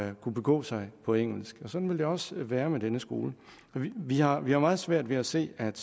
at kunne begå sig på engelsk og sådan vil det også være med denne skole vi har vi har meget svært ved at se at